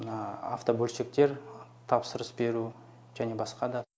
мына автобөлшектер тапсырыс беру және басқа да